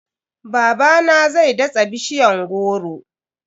Babana zai datsa bishiyan goro.